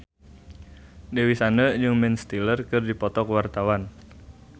Dewi Sandra jeung Ben Stiller keur dipoto ku wartawan